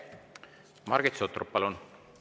Margit Sutrop, palun!